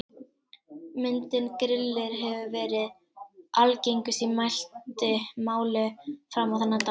Myndin Grillir hefur verið algengust í mæltu máli fram á þennan dag.